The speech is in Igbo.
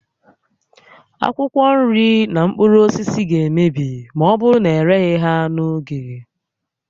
Akwụkwọ nri na mkpụrụ osisi ga-emebi ma ọ bụrụ na ereghị ha n'oge